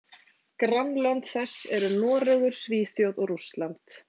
Grannlönd þess eru Noregur, Svíþjóð og Rússland.